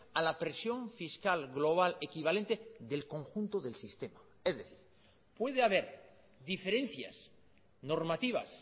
a la presión fiscal global equivalente del conjunto del sistema es decir puede haber diferencias normativas